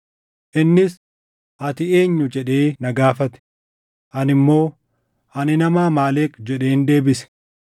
“Innis, ‘Ati eenyu?’ jedhee na gaafate. “Ani immoo, ‘Ani nama Amaaleq’ jedheen deebise.